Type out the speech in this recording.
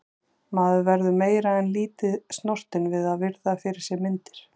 Maður verður meira en lítið snortinn við að virða fyrir sér myndir.